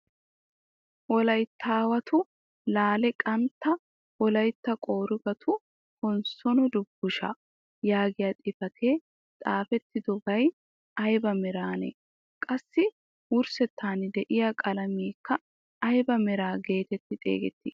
"Wolayttaawatu laale qaattaa wolaytta qorggatu konssoono dubusshshaa" yaagiyaa xifatee xaafettidoy ayba meranee? qassi wurssettan de'iyaa qalameekka ayba mera getetti xeegettii?